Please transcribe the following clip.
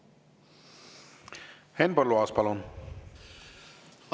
Henn Põlluaas, palun!